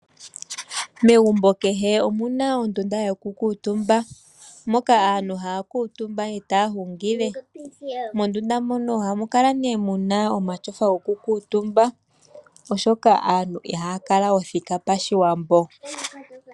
Megumbo kehe omu na ondunda yoku kuutumba moka aantu haya kuutumba e ta ya hungile, mondunda mono ohamu kala nee mu na omatyofa goku kuutumba, oshoka aantu ihaya kala othika pashiwambo.